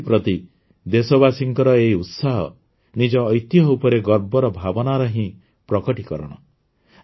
ସଂସ୍କୃତି ପ୍ରତି ଦେଶବାସୀଙ୍କର ଏହି ଉତ୍ସାହ ନିଜ ଐତିହ୍ୟ ଉପରେ ଗର୍ବର ଭାବନାର ହିଁ ପ୍ରକଟିକରଣ